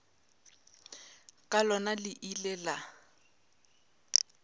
ka lona le ile la